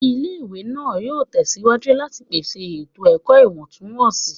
Ile-iwe naa yoo tẹsiwaju lati pese eto-ẹkọ iwọntunwọnsi